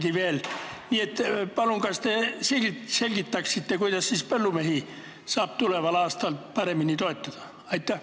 Kas te palun selgitaksite, kuidas põllumehi saab tuleval aastal paremini toetada?